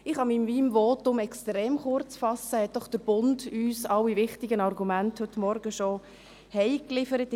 Ich kann mich in meinem Votum extrem kurzfassen, hat uns doch heute Morgen «Der Bund» in der Zeitung schon alle wichtigen Argumente nach Hause geliefert.